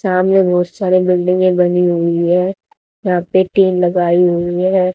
सामने बहोत सारी बिल्डिंगे बनी हुई है। यहा पे टेन लगाई हुई है।